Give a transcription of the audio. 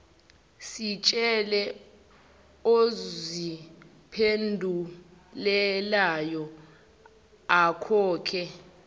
sitshele oziphendulelayo akhokhe